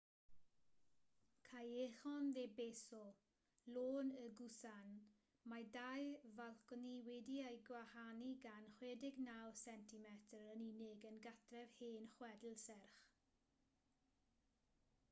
callejon de beso lôn y gusan. mae dau falconi wedi'u gwahanu gan 69 centimetr yn unig yn gartref hen chwedl serch